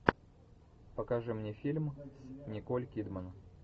покажи мне фильм николь кидман